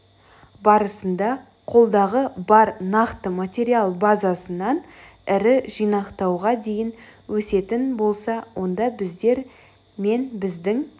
барысында қолдағы бар нақты материал базасынан ірі жинақтауға дейін өсетін болса онда біздер мен біздің